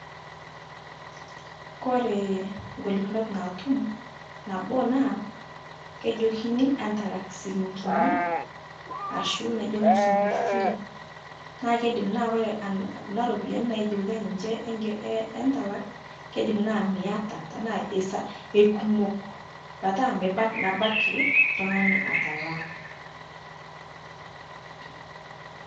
Kore golikinot naatuum naboo naa kejokini antalaak silingini ashuu nejoo musunguu fee naa keidiim naa kore kuna ropiani naijookitai ninchee entalaak keidiim naa mietaa tana ekumook pataa meebaki ltung'ana atalaa.